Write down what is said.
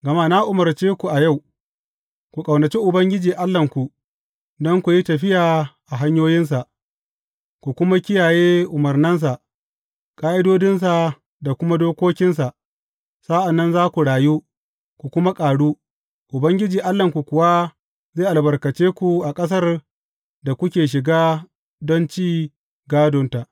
Gama na umarce ku a yau, ku ƙaunaci Ubangiji Allahnku, don ku yi tafiya a hanyoyinsa, ku kuma kiyaye umarnansa, ƙa’idodinsa da kuma dokokinsa, sa’an nan za ku rayu, ku kuma ƙaru, Ubangiji Allahnku kuwa zai albarkace ku a ƙasar da kuke shiga don ci gādonta.